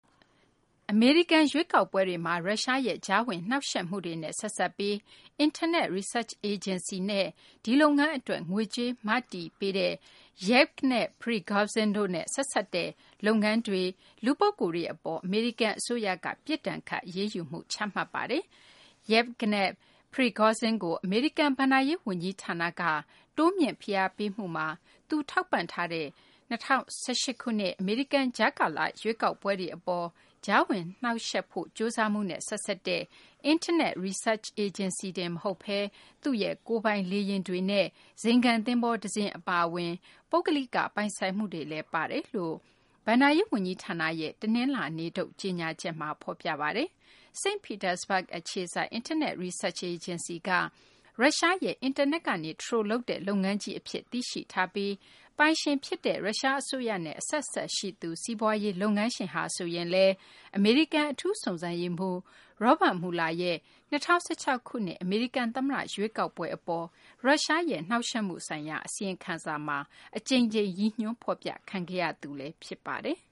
အမေရိကန် ရွေးကောက်ပွဲတွေမှာ ရုရှားရဲ့ ကြားဝင်နှောင့်ယှက်မှုတွေနဲ့ ဆက်စပ်ပြီး Internet Research Agency နဲ့ ဒီလုပ်ငန်း အတွက် ငွေကြေး မတည်ပေးသူ Yevgeny Prigozhin တို့နဲ့ ဆက်စပ်တဲ့ လုပ်ငန်းတွေနဲ့ လူပုဂ္ဂိုလ်တွေ အပေါ် အမေရိကန် အစိုးရက ပြစ်ဒဏ်ခတ် အရေးယူမှု ချမှတ်ပါတယ်။ Yevgeny Prigozhin ကို အမေရိကန် ဘဏ္ဍာရေး ဝန်ကြီးဌာနက တိုးမြှင့် ဖိအားပေးမှုမှာ သူထောက်ပံ့ထားတဲ့ ၂၀၁၈ ခုနှစ် အမေရိကန် ကြားကာလ ရွေးကောက်ပွဲတွေ အပေါ် ကြားဝင်နှောင့်ယှက်ဖို့ ကြိုးစားမှုနဲ့ ဆက်စပ်တဲ့ Internet Research Agency တင်မဟုတ်ဘဲ သူရဲ့ ကိုယ်ပိုင် လေယာဉ်တွေနဲ့ ဇိမ်ခံ သဘောၤ တစင်း အပါအဝင် ပုဂ္ဂလိက ပိုင်ဆိုင်မှုတွေလည်း ပါဝင်တယ်လို့ အမေရိကန် ဘဏ္ဍာရေး ဝန်ကြီးဌာနရဲ့ တနလာၤနေ့ထုတ် ကြေညာချက်မှာ ဖော်ပြပါတယ်။ စိန့်ပီတာစဘဂ် အခြေစိုက် Internet Research Agency က ရုရှားရဲ့ အင်တာနက်ကနေ Troll လုပ်တဲ့ လုပ်ငန်းကြီး အဖြစ် သိရှိထားပြီး ပိုင်ရှင်ဖြစ်တဲ့ ရုရှား အစိုးရနဲ့ အဆက်အစပ်ရှိတဲ့ စီးပွားရေး လုပ်ငန်းရှင်ဟာ ဆိုရင်လည်း အမေရိကန် အထူးစုံစမ်းရေးမှူး Robert Muller ရဲ့ ၂၀၁၆ ခုနှစ် အမေရိကန် သမ္မတ ရွေးကောက်ပွဲ အပေါ် ရုရှားရဲ့ နှောင့်ယှက်မှု ဆိုင်ရာ အစီရင်ခံစာမှာ အကြိမ်ကြိမ် ရည်ညွှန်းဖော်ပြခံခဲ့ရသူ ဖြစ်ပါတယ်။